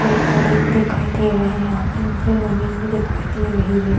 पेड़-पौधे भी दिखाई दे रहे हैं यहाँ पे नीचे जमीन भी दिखाई दे रही है।